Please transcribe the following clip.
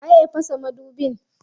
Waye ya fasa madubin?